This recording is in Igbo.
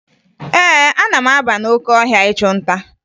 Ee, ana m aba n'oke ahịa ịchụ nta